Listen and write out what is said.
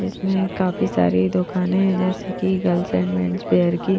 इसमें काफी सारी दुकानें है जैसे की गर्ल्स एंड मेंन्सवेयर की--